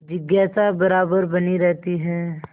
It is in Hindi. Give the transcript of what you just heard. जिज्ञासा बराबर बनी रहती है